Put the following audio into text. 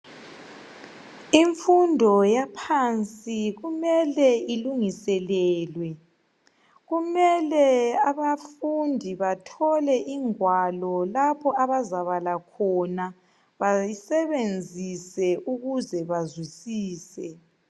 Imfundo yaphansi kumele ilungiselelwe, kumele abafundi bathole ingwalo lapho abazabala khona basebenzise ukuze bazwisise.